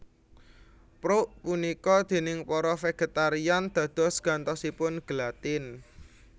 Prouk punika déning para vegetarian dados gantosipun gelatin